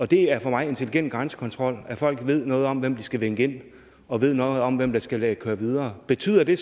det er for mig intelligent grænsekontrol at folk ved noget om hvem de skal vinke ind og ved noget om hvem der skal køre videre betyder det